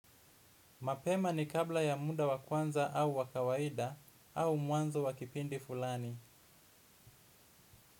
Mapema ni kabla ya muda wa kwanza au wa kawaida au mwanzo wa kipindi fulani.